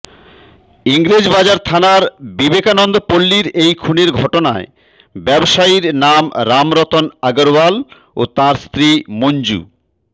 ইংরেজবাজার থানার বিবেকানন্দ পল্লির এই খুনের ঘটনায় ব্যবসায়ীর নাম রামরতন আগরওয়াল ও তাঁর স্ত্রী মঞ্জু